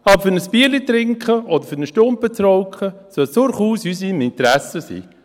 Aber um ein Bier zu trinken oder einen Stumpen zu rauchen, sollte es durchaus in unserem Interesse sein.